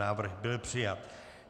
Návrh byl přijat.